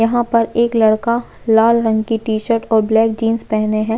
यहाँ पर एक लड़का लाल रंग की टी-शर्ट और ब्लैक जींस पहने हैं।